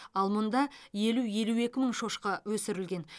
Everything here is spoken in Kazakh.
ал мұнда елу елу екі мың шошқа өсірілген